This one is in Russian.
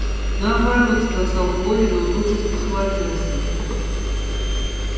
наоборот сказал коля но тут же спохватился